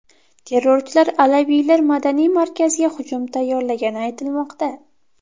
Terrorchilar alaviylar madaniy markaziga hujum tayyorlagani aytilmoqda.